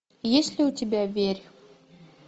есть ли у тебя верь